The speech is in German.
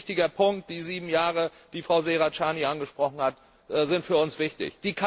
Ein ganz wichtiger Punkt Die sieben Jahre, die Frau Serracchiani angesprochen hat, sind für uns wichtig.